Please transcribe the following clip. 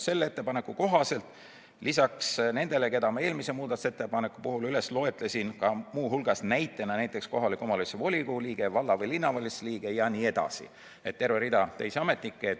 Selle ettepaneku kohaselt lisaks nendele, keda ma eelmise muudatusettepaneku puhul loetlesin, näiteks kohaliku omavalitsuse volikogu liige, valla- või linnavalitsuse liige jne – terve rida teisi ametnikke.